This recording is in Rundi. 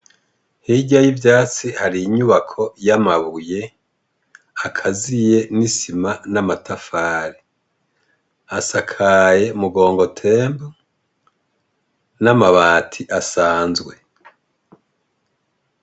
Hirya y'ivyatsi hari inyubako y'amabuye, hakaziye n'isima n'amatafari. Hasakaye mugongo tento n'amabati asanzwe.